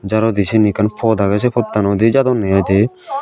jarodi syen ekkan pod agey sei pottanodi jadonney aai dey.